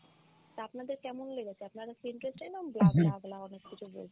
তা আপনাদের কেমন লেগেছে? আপনাদের feedback চাইলাম bla bla bla অনেক কিছু বলেছে।